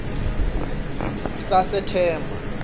sasethemba